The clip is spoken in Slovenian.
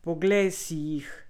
Poglejte si jih!